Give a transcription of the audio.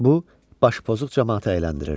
Bu, başpozuq camaatı əyləndirirdi.